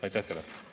Aitäh teile!